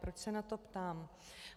Proč se na to ptám?